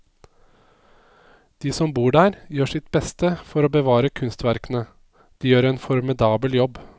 De som bor der, gjør sitt beste for å bevare kunstverkene, de gjør en formidabel jobb.